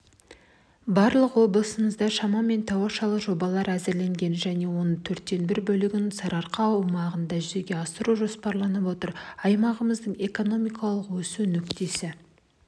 барлығы облысымызда шамамен тауашалы жобалар әзірленген және оның төрттен бір бөлігін сарыарқа аумағында жүзеге асыру жоспарланып отыр аймағымыздың экономикалық өсу нүктесі